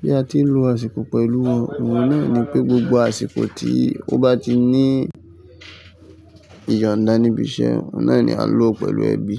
bí a ti ń lo àsìkò pẹ̀lú wọn. Òun náà ní pé gbogbo àsìkò tí ó bá ti ní ìyọ̀nda níbi iṣẹ́, ó náà ni a lò ó pẹ̀lú ẹbí.